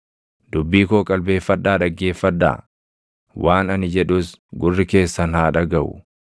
Dubbii koo qalbeeffadhaa dhaggeeffadhaa; waan ani jedhus gurri keessan haa dhagaʼu.